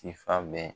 Tifabɛ